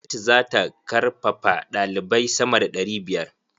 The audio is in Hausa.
Gwamnati za ta karfafaɗalibai sama da ɗari biyar.